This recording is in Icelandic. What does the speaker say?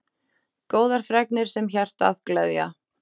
Góðar fregnir sem hjartað gleðja.